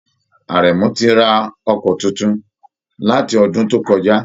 Aremu ti ra ọkọ̀ tuntun, láti ọdún tó kọjá.